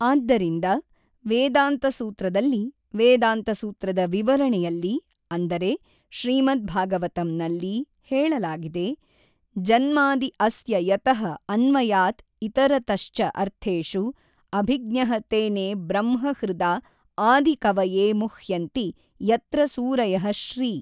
ಆದ್ದರಿಂದ ವೇದಾಂತ ಸೂತ್ರದಲ್ಲಿ ವೇದಾಂತ ಸೂತ್ರದ ವಿವರಣೆಯಲ್ಲಿ ಅಂದರೆ ಶ್ರೀಮದ್ ಭಾಗವತಂನಲ್ಲಿ ಹೇಳಲಾಗಿದೆ ಜನ್ಮಾದಿ ಅಸ್ಯ ಯತಃ ಅನ್ವಯಾತ್ ಇತರತಶ್ ಚ ಅರ್ಥೇಶು ಅಭಿಜ್ಞಃ ತೇನೆ ಬ್ರಹ್ಮ ಹೃದಾ ಆದಿ ಕವಯೇ ಮುಹ್ಯಂತಿ ಯತ್ರ ಸೂರಯಃ ಶ್ರೀ.